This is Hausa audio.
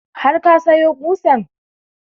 Har ka sayo ƙusan?